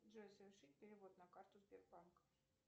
джой совершить перевод на карту сбербанк